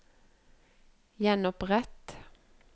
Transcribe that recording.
gjenopprett